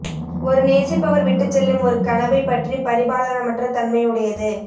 ஒரு நேசிப்பவர் விட்டுச்செல்லும் ஒரு கனவைப் பற்றி பரிபாலனமற்ற தன்மை உடையது